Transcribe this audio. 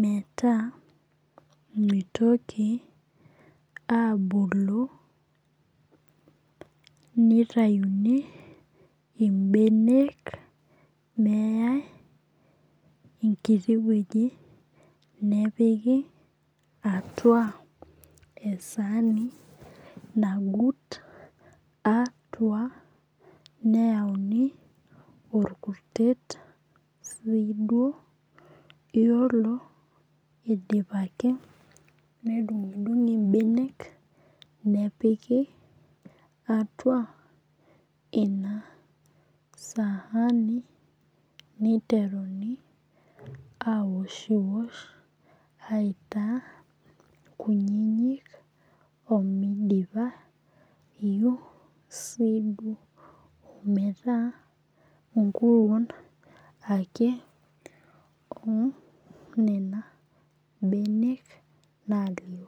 meeta mitoki abulu nitayuni ibenek neyai enkiti weji nepiki atua esani nagut atua neyauni orkurtet sii duo. Iyiolo idipaki nedung'idung'i ibenek nepiki atua ina sahani niteruni aoshiosh aitaa kunyinyik omidipa eyeu sii duo meeta nkuruon ake oo nena benek nalio.